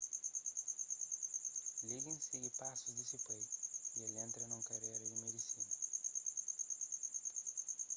liggins sigi pasus di se pai y el entra nun karéra na medisina